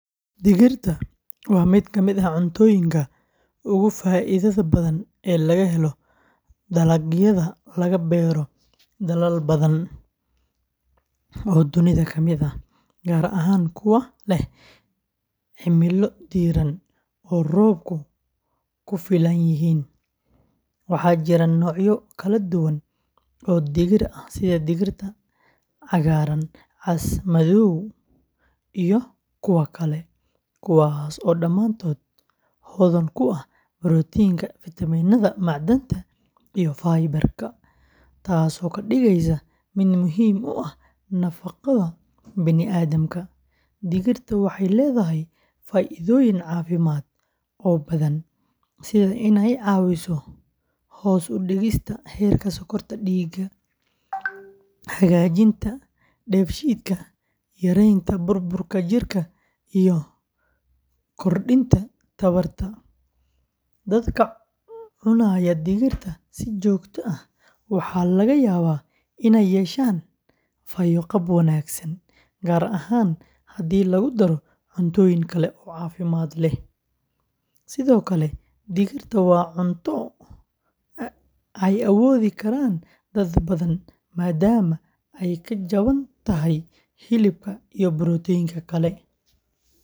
Digirta waa mid ka mid ah cuntooyinka ugu faa’iidada badan ee laga helo dalagyada laga beero dalal badan oo dunida ka mid ah, gaar ahaan kuwa leh cimilo diiran oo roobabku ku filan yihiin. Waxaa jira noocyo kala duwan oo digir ah sida digirta cagaaran, cas, madow iyo kuwa kale, kuwaas oo dhammaantood hodan ku ah borotiinka, fiitamiinada, macdanta iyo fiber-ka, taasoo ka dhigaysa mid muhiim u ah nafaqada bani’aadamka. Digirta waxay leedahay faa’iidooyin caafimaad oo badan sida inay caawiso hoos u dhigista heerka sonkorta dhiigga, hagaajinta dheefshiidka, yareynta baruurta jirka iyo kordhinta tamarta. Dadka cunaya digirta si joogto ah waxaa laga yaabaa inay yeeshaan fayo-qab wanaagsan, gaar ahaan haddii lagu daro cuntooyin kale oo caafimaad leh. Sidoo kale digirta waa cunto ay awoodi karaan dad badan maadaama ay ka jaban tahay hilibka iyo borotiinka kale.